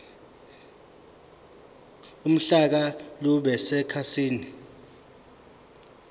uhlaka lube sekhasini